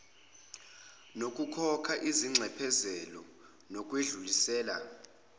nokukhokha izinxephezelo nokwedlulisela